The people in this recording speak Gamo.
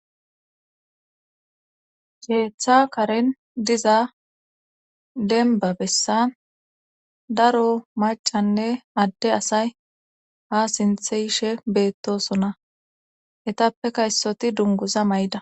Keththa karen diza denba bessan daro macanne adde asay ha sinthe yishe beettosona etappeka issoti dunguza may7da